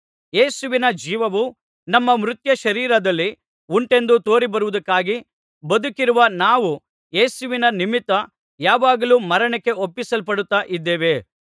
ಯೇಸುವಿನ ಜೀವವು ನಮ್ಮ ಮರ್ತ್ಯ ಶರೀರದಲ್ಲಿ ಉಂಟೆಂದು ತೋರಿಬರುವುದಕ್ಕಾಗಿ ಬದುಕಿರುವ ನಾವು ಯೇಸುವಿನ ನಿಮಿತ್ತ ಯಾವಾಗಲೂ ಮರಣಕ್ಕೆ ಒಪ್ಪಿಸಲ್ಪಡುತ್ತಾ ಇದ್ದೇವೆ